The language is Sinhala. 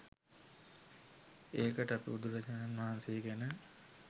ඒකට අපි බුදුරජාණන් වහන්සේ ගැන .